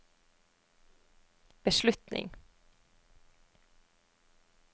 beslutning